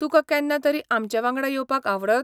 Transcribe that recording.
तुका केन्ना तरी आमचे वांगडा येवपाक आवडत?